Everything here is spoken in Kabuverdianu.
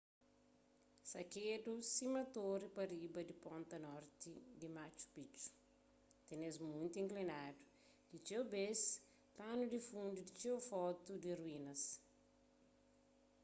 sakedu sima tori pa riba di ponta norti di machu picchu tenes monti inklinadu ki txeu bês panu di fundu di txeu fotu di ruínas